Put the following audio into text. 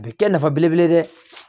A bɛ kɛ nafa belebele ye dɛ